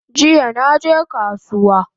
Jiya naje kasuwa